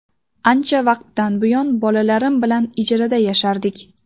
Ancha vaqtdan buyon bolalarim bilan ijarada yashardik.